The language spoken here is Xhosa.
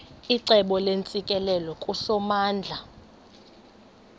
icebo neentsikelelo kusomandla